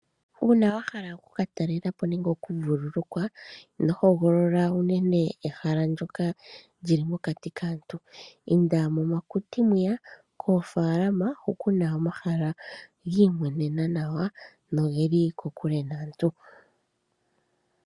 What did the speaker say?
Uuna wahala okukatalelapo nenge okuvulukwa. Ino hogolola unene ehala ndyoka lyili mokati kaantu. Inda momakuti mwiya, koofalama hu kuna omahala gi imwenena, nogeli kokule naantu.